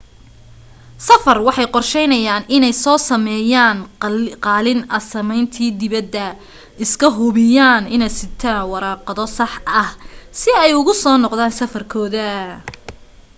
safar waxay qorsheynayaan iney so sameeyan qaalin asaymanti dibada iska hubiyaan iney sitaa warqado sax ah si ay ugu soo noqdan safar kooda